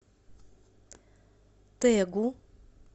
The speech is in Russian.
тэгу